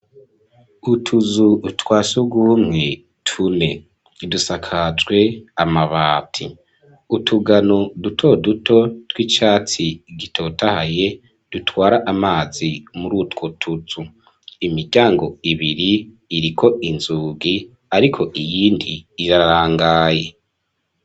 Utuzu twa surwumwe tune, dusakajwe amabati, utugano duto duto, tw'icatsi gitotahaye, dutwara amazi, muri utwo tuzu, imiryango ibiri, iriko inzugi, ariko iyindi irarangaye.